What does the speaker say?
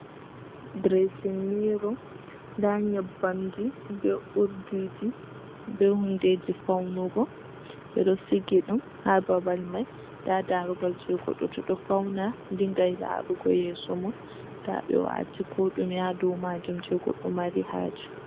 "Direesin miiro" ndaa Nyebbamji bee uurdiiji, bee hunndeeji fawnugo. Ɓe ɗon sigi ɗum, haa babal may. Ndaa daaroogal jey goɗɗo to ɗo fawna dinngay laarugo yeeso mum. Ndaa ɓe waati Koo ɗume ha dow maajum jey goɗɗo Mari haaje.